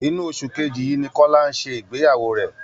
Inú oṣù kejì yìí ni Kọlá ń ṣe ìgbeyàwó rẹ